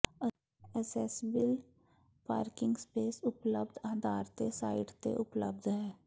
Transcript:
accessible parking space ਉਪਲੱਬਧ ਆਧਾਰ ਤੇ ਸਾਈਟ ਤੇ ਉਪਲਬਧ ਹੈ